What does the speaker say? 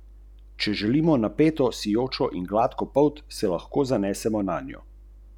Vse drugo je ena velika zabava.